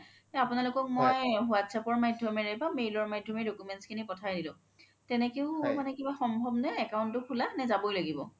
আপোনালোকক মই whatsapp ৰ মাধ্যমৰে বা mail ৰ মাধ্যমৰে documents খিনি পথাই দিলো তেনেকেও মানে কিবা সম্ভাৱ নে account তো খুলা নে যাব লাগিব